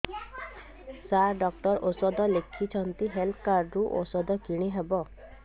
ସାର doctor ଔଷଧ ଲେଖିଛନ୍ତି health card ରୁ ଔଷଧ କିଣି ହେବ